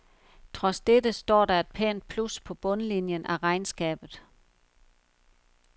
Trods dette står der et pænt plus på bundlinien af regnskabet.